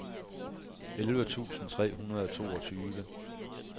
elleve tusind tre hundrede og toogtyve